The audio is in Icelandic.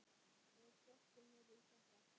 Ég sökkti mér í þetta.